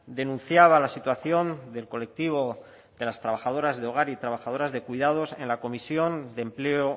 denunciaba la situación del colectivo de las trabajadoras de hogar y trabajadoras de cuidados en la comisión de empleo